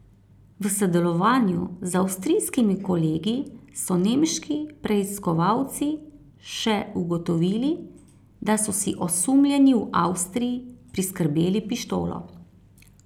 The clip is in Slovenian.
V sodelovanju z avstrijskimi kolegi so nemški preiskovalci še ugotovili, da so si osumljeni v Avstriji priskrbeli pištolo.